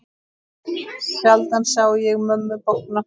Sjaldan sá ég mömmu bogna.